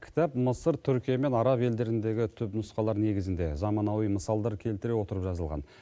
кітап мысыр түркия мен араб елдеріндегі түп нұсқалар негізінде заманауи мысалдар келтіре отырып жазылған